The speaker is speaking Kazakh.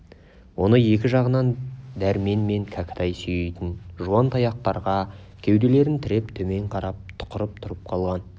оны екі жағынан дәрмен мен кәкітай сүйейтін жуан таяқтарға кеуделерін тіреп төмен қарап тұқырып тұрып қалған